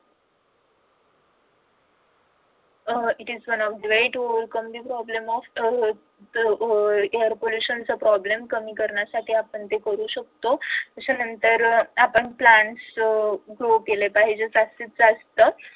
अह it is one of the ways to overcome the problem of uh air pollution चा problem कमी करण्यासाठी आपण करू शकतो. त्याच्यानंतर अह आपण plans केले पाहिजेत जास्तीत जास्त